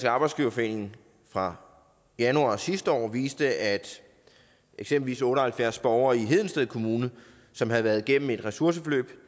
arbejdsgiverforening fra januar sidste år viste at eksempelvis otte og halvfjerds borgere i hedensted kommune som havde været igennem et ressourceforløb